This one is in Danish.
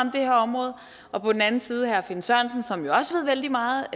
her område og på den anden side herre finn sørensen som jo også ved vældig meget